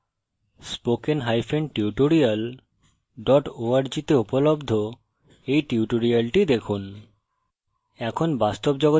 না হলে spokentutorial org তে উপলব্ধ এই tutorial দেখুন